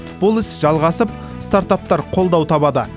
бұл іс жалғасып стартаптар қолдау табады